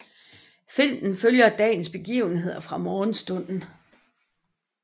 Filmen følger dagens begivenheder fra morgenstunden